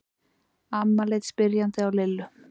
Amma leit spyrjandi á Lillu.